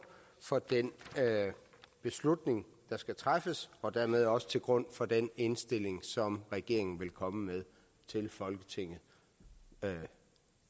for den beslutning der skal træffes og dermed også til grund for den indstilling som regeringen vil komme med til folketinget